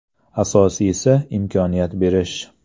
Asosiysi imkoniyat berish.